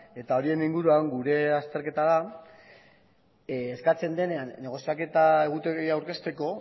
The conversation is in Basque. eta horien inguruan gure azterketa da eskatzen denean negoziaketa egutegia aurkezteko